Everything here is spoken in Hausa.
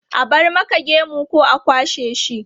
A bar maka gemu ko a kwashe shi?